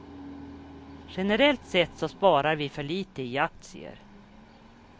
Generellt sett så sparar vi för lite i aktier.